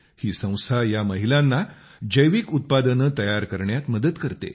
ही संस्था या महिलांना जैविक उत्पादने तयार करण्यात मदत करते